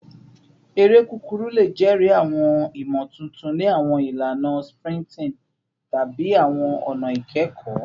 Ere kukuru le jẹri awọn imotuntun ni awọn ilana sprinting tabi awọn ọna ikẹkọ